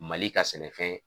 Mali ka sɛnɛfɛn.